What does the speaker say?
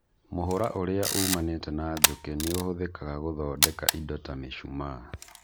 Mũhũra ũrĩa umanĩte na njũkĩ nĩ ũhũthĩkaga gũthondeka indo ta mĩcumaa.